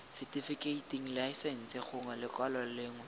setifikeiting laesense gongwe lekwalo lengwe